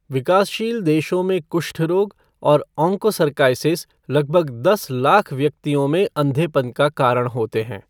विकासशील देशों में कुष्ठ रोग और ऑङ्कोसर्काइसिस लगभग दस लाख व्यक्तियों को अंधेपन का कारण होते हैं।